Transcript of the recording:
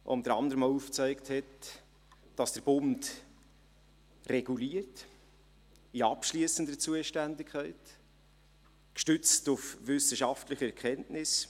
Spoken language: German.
Unter anderem hat sie aufgezeigt, dass der Bund in abschliessender Zuständigkeit reguliert, gestützt auf wissenschaftliche Erkenntnisse.